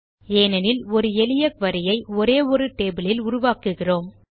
ஏனெனில் ஒரு எளிய குரி ஐ ஒரே ஒரு டேபிள் இல் உருவாக்குகிறோம்